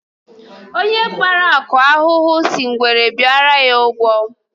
Onye kpara nkụ ahụhụ si ngwere bịara ya ụgwọ